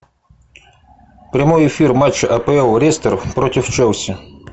прямой эфир матча апл лестер против челси